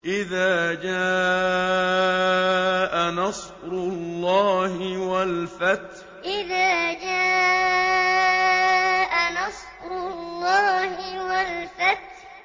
إِذَا جَاءَ نَصْرُ اللَّهِ وَالْفَتْحُ إِذَا جَاءَ نَصْرُ اللَّهِ وَالْفَتْحُ